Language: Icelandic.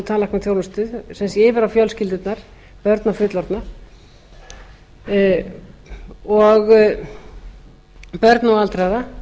tannlæknaþjónustu sem sé yfir á fjölskyldurnar börn og fullorðna börn og aldraða